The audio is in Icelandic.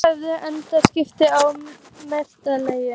Þeir hefðu engan skilning á mannlegu eðli.